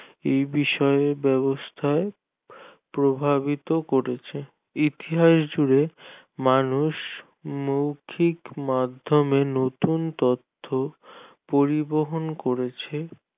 এ বিষয়ে ব্যবস্থা প্রভাবিত করছে ইতিহাস জুড়ে মানুষ মৌখিক মাধ্যমে নতুন তথ্য পরিবহন করেছে